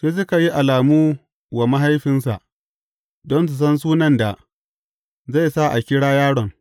Sai suka yi alamu wa mahaifinsa, don su san sunan da zai su a kira yaron.